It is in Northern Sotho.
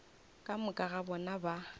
ka moka ga bona ba